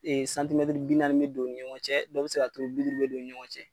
bi naani bɛ don u ni ɲɔgɔn cɛ dɔw bɛ se ka kɛ bi duuru bɛ don u ni ɲɔgɔn cɛ.